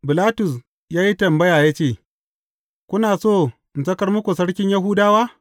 Bilatus ya yi tambaya ya ce, Kuna so in sakar muku Sarkin Yahudawa?